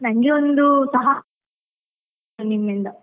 ನಂಗೆ ಒಂದು ಸಹ ನಿಮ್ಮಿಂದ.